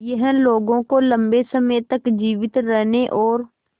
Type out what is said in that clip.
यह लोगों को लंबे समय तक जीवित रहने और